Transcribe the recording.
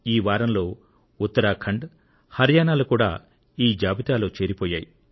ఈ వారంలో ఉత్తరాఖండ్ హరియాణా లు కూడా ఈ జాబితాలో చేరిపోయాయి